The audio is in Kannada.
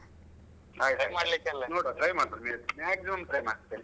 ಆಯ್ತಾಯ್ತು ನೋಡುವ try ಮಾಡ್ತೇನೆ Maximum try ಮಾಡ್ತೇನೆ.